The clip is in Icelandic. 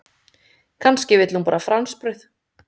Kannski vill hún bara franskbrauð.